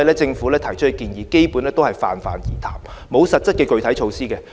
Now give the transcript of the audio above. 政府提出的建議基本上是泛泛而談，沒有實質的具體措施。